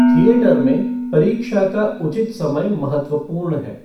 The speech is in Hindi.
थिएटर में परीक्षा का उचित समय महत्वपूर्ण है।